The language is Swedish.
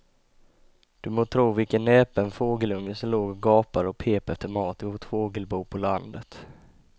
Du må tro vilken näpen fågelunge som låg och gapade och pep efter mat i vårt fågelbo på landet.